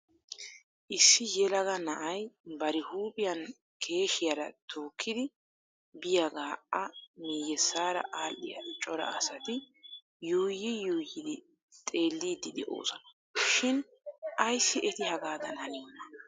Issi yelaga na'ay bari huuphiyaan keeshiyara tookkidi biyaaga a miyyessaara aadhdhiya cora asati yuuyyi yuuyyidi xelidi de'oosona shin ayssi eti hagaadan haniyoona!